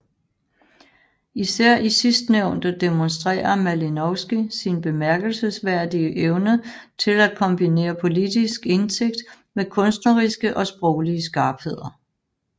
Især i sidstnævnte demonstrerer Malinowski sin bemærkelsesværdige evne til at kombinere politisk indsigt med kunstneriske og sproglige skarpheder